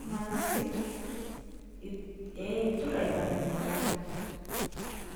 nimaniki sii it, ee iturr aipalilia.